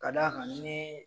Ka d'a ka nii